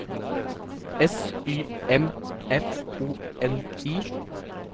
S Y M F O N I